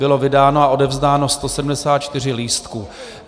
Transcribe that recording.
Bylo vydáno a odevzdáno 174 lístků.